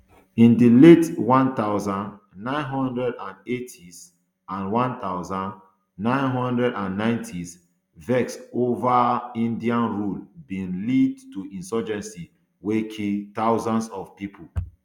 in di late one thousand, nine hundred and eightys and one thousand, nine hundred and ninetys vex ova indian rule bin lead to insurgency wey kill thousands of pipo